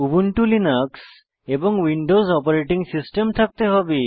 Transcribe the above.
Ubuntu Linux এবং Windows operating system থাকতে হবে